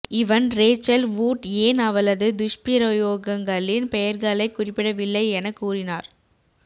இவன் Rachel Wood ஏன் அவளது துஷ்பிரயோகங்களின் பெயர்களைக் குறிப்பிடவில்லை எனக் கூறினார்